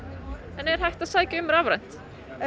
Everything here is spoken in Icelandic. er hægt að sækja um rafrænt